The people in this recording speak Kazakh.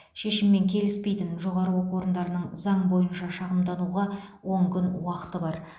шешіммен келіспейтін жоғары оқу орындарының заң бойынша шағымдануға он күн уақыты бар